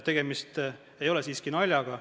Tegemist ei ole naljaga.